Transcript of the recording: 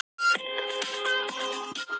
Dóra, hefur þú prófað nýja leikinn?